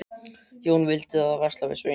Jón vildi þá versla við Svein.